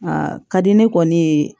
A ka di ne kɔni ye